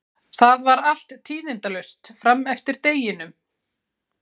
Það var allt tíðindalaust fram eftir deginum.